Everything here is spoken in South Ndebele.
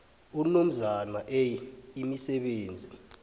unomzana a imisebenzi